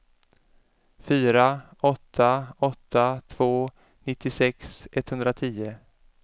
fyra åtta åtta två nittiosex etthundratio